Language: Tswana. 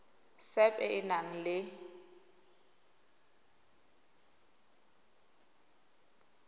sap e e nang le